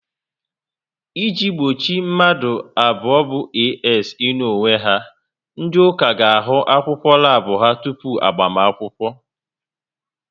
I ji gbochi mmadụ abụọ bụ "AS" ịnụ onwe ha, ndị ụka ga ahụ akwụkwọ labu ha tupu agbamakwụkwọ